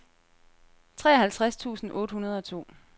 treoghalvtreds tusind otte hundrede og to